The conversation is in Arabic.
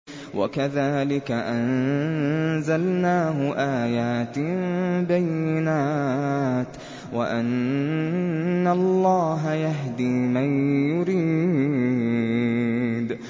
وَكَذَٰلِكَ أَنزَلْنَاهُ آيَاتٍ بَيِّنَاتٍ وَأَنَّ اللَّهَ يَهْدِي مَن يُرِيدُ